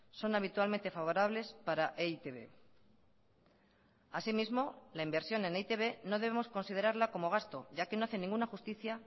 son habitualmente favorables para e i te be asimismo la inversión en e i te be no debemos considerarla como gasto ya que no hace ninguna justicia